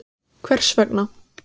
Fréttamaður: Hvers vegna?